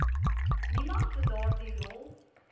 niemand daardie rol